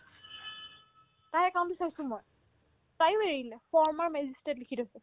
তাইৰ কামটো চাইছো মই তায়ো এৰি দিলে former magistrate লিখি থৈছে